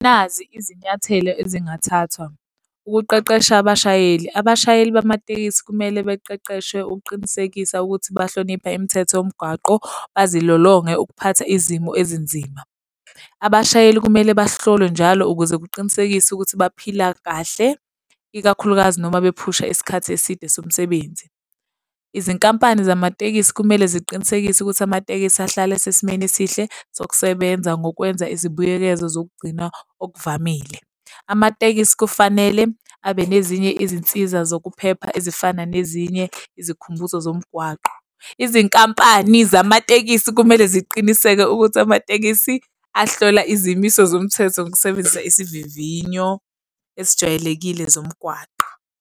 Nazi izinyathelo ezingathathwa. Ukuqeqesha abashayeli. Abashayeli bamatekisi kumele baqeqeshwe ukuqinisekisa ukuthi bahloniphe imithetho yomgwaqo, bazilolonge ukuphatha izimo ezinzima. Abashayeli kumele bahlolwe njalo ukuze kuqinisekiswe ukuthi baphile kahle, ikakhulukazi noma bephusha isikhathi eside somsebenzi. Izinkampani zamatekisi kumele ziqinisekise ukuthi amatekisi ahlale isesimeni esihle sokusebenza ngokwenza izibuyekezo zokugcina okuvamile. Amatekisi kufanele abe nezinye izinsiza zokuphepha ezifana nezinye izikhumbuzo zomgwaqo. Izinkampani zamatekisi kumele ziqiniseke ukuthi amatekisi ahlola izimiso zomthetho ngokusebenzisa isivivinyo esijwayelekile zomgwaqo.